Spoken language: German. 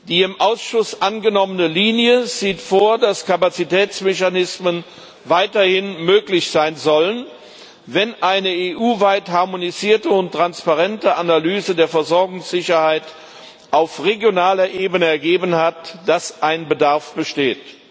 Die im Ausschuss angenommene Linie sieht vor, dass Kapazitätsmechanismen weiterhin möglich sein sollen, wenn eine EU weit harmonisierte und transparente Analyse der Versorgungssicherheit auf regionaler Ebene ergeben hat, dass ein Bedarf besteht.